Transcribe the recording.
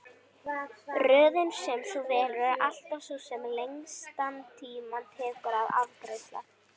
Röðin sem þú velur er alltaf sú sem lengstan tíma tekur að afgreiða.